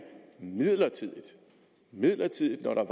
midlertidigt midlertidigt når der